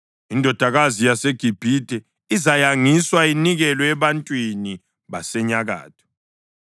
Indodakazi yaseGibhithe izayangiswa, inikelwe ebantwini basenyakatho.”